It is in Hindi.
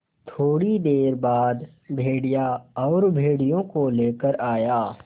थोड़ी देर बाद भेड़िया और भेड़ियों को लेकर आया